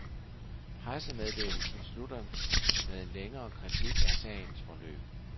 Pressemeddelelsen slutter med en længere kritik af sagens forløb.